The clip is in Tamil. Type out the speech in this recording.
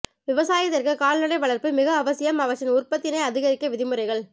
விவாசயத்திற்கு கால்நடை வளர்ப்பு மிக அவசியம் அவற்றின் உற்பத்தினை அதிகரிக்க வழிமுறைகள்